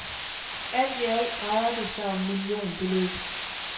Alt i alt drejer det sig om millionbeløb.